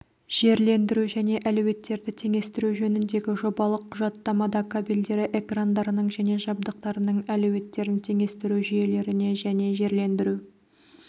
жерлендіру және әлеуеттерді теңестіру жөніндегі жобалық құжаттамада кабельдері экрандарының және жабдықтарының әлеуеттерін теңестіру жүйелеріне және жерлендіру